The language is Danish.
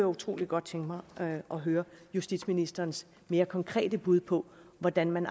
utrolig godt tænke mig at høre justitsministerens mere konkrete bud på hvordan man